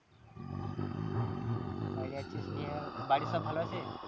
বাইরে আছিস নিয়ে বাড়ির সব ভালো আছে?